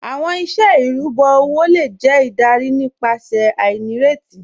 Awọn iṣẹ irubọ owo le jẹ idarí nípasẹ̀ ainíretí